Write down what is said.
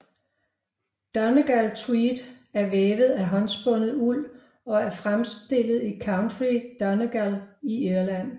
Donegal tweed er vævet af håndspundet uld og er fremstillet i County Donegal i Irland